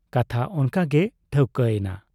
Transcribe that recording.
ᱠᱟᱛᱷᱟ ᱚᱱᱠᱟᱜᱮ ᱴᱷᱟᱹᱣᱠᱟᱹ ᱮᱱᱟ ᱾